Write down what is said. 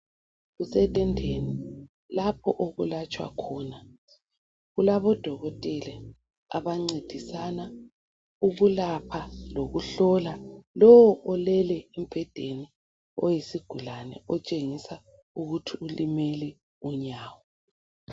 Kusetendeni lapho okulatshwa khona. Kulabo dokotela abancedisana ukulapha lokuhlola lo olele embhedeni oyisigulane otshengisa ukuthi ulimele unyawo.